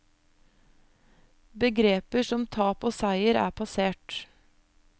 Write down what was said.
Begreper som tap og seier er passert.